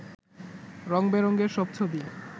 রঙ বেরঙের সব ছবি